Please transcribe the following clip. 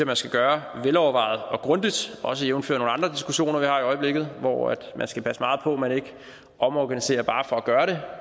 man skal gøre velovervejet og grundigt også jævnfør nogle andre diskussioner vi har i øjeblikket hvor man skal passe meget på man ikke omorganiserer bare for at gøre det